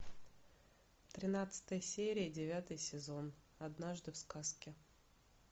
тринадцатая серия девятый сезон однажды в сказке